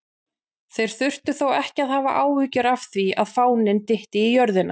Þeir þurftu þó ekki að hafa áhyggjur af því að fáninn dytti á jörðina!